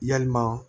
Yalima